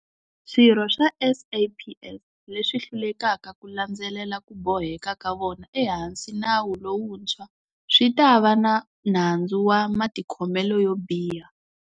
Swirho swa SAPS leswi hlulekaka ku landzelela ku boheka ka vona ehansi nawu lowuntshwa swi ta va na nandzu wa matikhomelo yo biha.